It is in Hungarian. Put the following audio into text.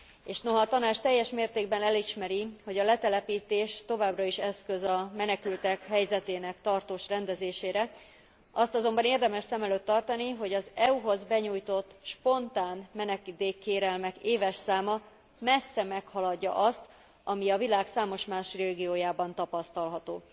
És noha a Tanács teljes mértékben elismeri, hogy a letelepítés továbbra is eszköz a menekültek helyzetének tartós rendezésére, azt azonban érdemes szem előtt tartani, hogy az EU hoz benyújtott spontán menedékkérelmek éves száma messze meghaladja azt, ami a világ számos más régiójában tapasztalható.